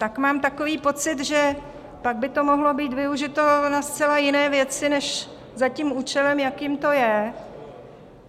Tak mám takový pocit, že pak by to mohlo být využito na zcela jiné věci než za tím účelem, jakým to je.